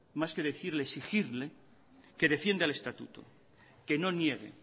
más que decirle exigirle que defienda el estatuto que no niegue